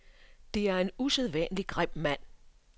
Det er en usædvanlig grim mand.